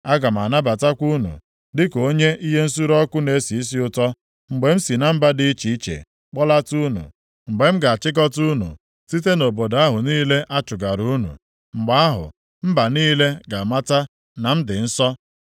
Aga m anabatakwa unu dịka onyinye ihe nsure ọkụ na-esi isi ụtọ, mgbe m si na mba dị iche iche kpọlata unu, mgbe m ga-achịkọta unu site nʼobodo ahụ niile a chụgara unu. Mgbe ahụ, mba niile ga-amata na m dị nsọ.